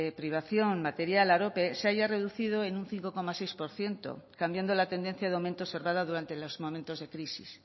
privación material arope se haya reducido en un cinco coma seis por ciento cambiando la tendencia de aumento observada durante los momentos de crisis